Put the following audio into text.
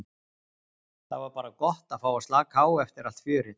Það var bara gott að fá að slaka á eftir allt fjörið.